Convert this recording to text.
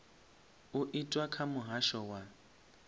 u itwa kha muhasho wa